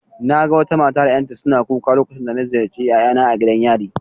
Naga wata mata da yaranta suna kuka lokacin da na ziyarci yayana a gidan yari